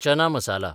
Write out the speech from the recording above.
चना masala